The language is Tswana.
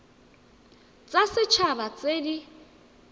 tsa set haba tse di